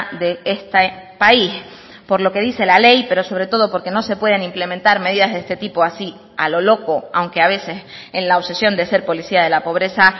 de este país por lo que dice la ley pero sobre todo porque no se pueden implementar medidas de este tipo así a lo loco aunque a veces en la obsesión de ser policía de la pobreza